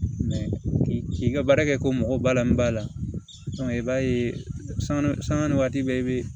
k'i ka baara kɛ ko mɔgɔ ba la min b'a la i b'a ye sanga sanga ni waati bɛɛ i be